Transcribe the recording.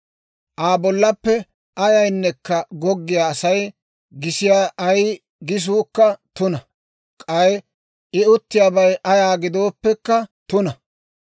« ‹Aa bollaappe ayayneekka goggiyaa Asay gisiyaa ay gisuukka tuna; k'ay I uttiyaabay ayaa gidooppekka tuna.